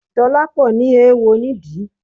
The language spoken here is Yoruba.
Dolapo ní eéwo nídìí